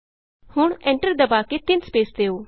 ਹੁਣ ਐਂਟਰ ਦਬਾ ਕੇ ਤਿੰਨ ਸਪੈਸ ਦਿਉ